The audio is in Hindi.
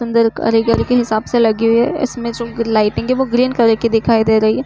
कारीगरी के हिसाब से लगी हुई है। इसमें जो लाइटिंग है वो ग्रीन कलर की दिखाई दे रही है।